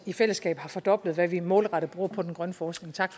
i fællesskab har fordoblet hvad vi målrettet bruger på den grønne forskning og tak